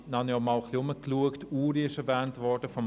Dann schaute ich mich etwas um: